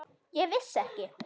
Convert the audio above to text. Ég vissi ekki.